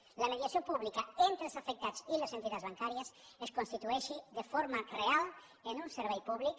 que la mediació pública entre els afectats i les entitats bancàries es constitueixi de forma real en un servei públic